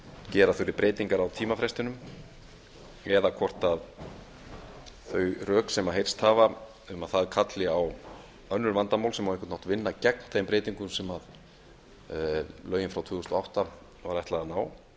gera þurfi breytingar á tímafrestinum eða hvort þau rök sem heyrst hafa um að það kalli á önnur vandamál sem á einhvern hátt gegn þeim breytingum sem lögin frá tvö þúsund og átta var ætlað að